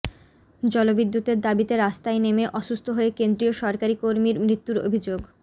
জল বিদ্যুতের দাবিতে রাস্তায় নেমে অসুস্থ হয়ে কেন্দ্রীয় সরকারি কর্মীর মৃত্যুর অভিযোগ